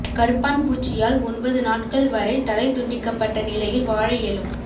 கரப்பான்பூச்சியால் ஒன்பது நாட்கள் வரை தலை துண்டிக்கப்பட்ட நிலையில் வாழ இயலும்